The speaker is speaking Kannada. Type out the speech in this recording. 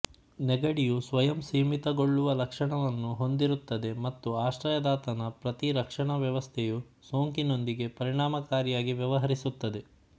ನೆಗಡಿಯು ಸ್ವಯಂಸೀಮಿತಗೊಳ್ಳುವ ಲಕ್ಷಣವನ್ನು ಹೊಂದಿರುತ್ತದೆ ಮತ್ತು ಆಶ್ರಯದಾತನ ಪ್ರತಿರಕ್ಷಣಾ ವ್ಯವಸ್ಥೆಯು ಸೋಂಕಿನೊಂದಿಗೆ ಪರಿಣಾಮಕಾರಿಯಾಗಿ ವ್ಯವಹರಿಸುತ್ತದೆ